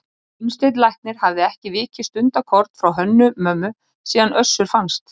Gunnsteinn læknir hafði ekki vikið stundarkorn frá Hönnu-Mömmu síðan Össur fannst.